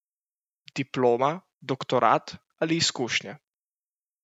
Diploma, doktorat ali izkušnje?